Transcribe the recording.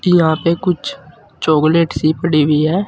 यहां पे कुछ चॉकलेट सी पड़ी हुई है।